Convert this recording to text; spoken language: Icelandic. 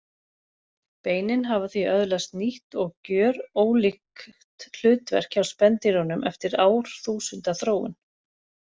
Beinin hafa því öðlaðist nýtt og gjörólíkt hlutverk hjá spendýrunum eftir árþúsunda þróun.